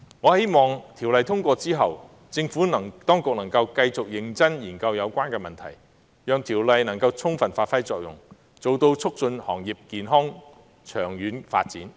我希望在《條例草案》通過後，政府當局能繼續認真研究有關問題，讓有關條例能夠充分發揮作用，達到促進行業健康及長遠發展的目的。